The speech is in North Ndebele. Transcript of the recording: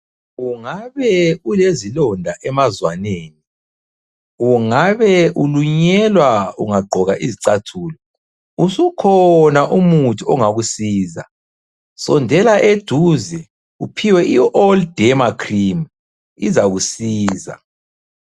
Ungabe ulezilonda emazwaneni. Ungabe ulunyelwa ungagqoka izicathulo, usukhona umuthi ongakusiza. Sondela eduze, uphiwe i- All Derma cream izakusiza.